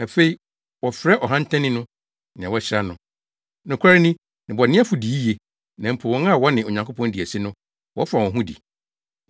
Afei, wɔfrɛ ɔhantanni no nea wɔahyira no. Nokware ni, nnebɔneyɛfo di yiye, na mpo wɔn a wɔne Onyankopɔn di asi no, wɔfa wɔn ho di.’ ”